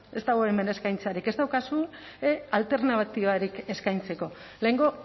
ez dago hemen eskaintzarik ez daukazue alternatibarik eskaintzeko lehengo